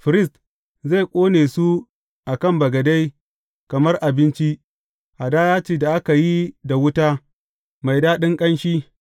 Firist zai ƙone su a kan bagade kamar abinci, hadaya ce da aka yi da wuta, mai daɗin ƙanshi.